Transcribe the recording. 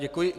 Děkuji.